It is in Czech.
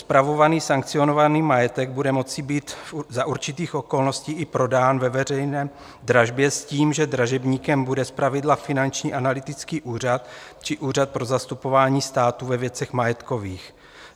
Spravovaný sankcionovaný majetek bude moci být za určitých okolností i prodán ve veřejné dražbě s tím, že dražebníkem bude zpravidla Finanční analytický úřad či Úřad pro zastupování státu ve věcech majetkových.